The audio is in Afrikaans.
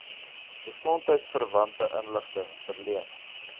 gesondheidsverwante inligting verleen